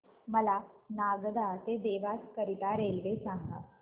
मला नागदा ते देवास करीता रेल्वे सांगा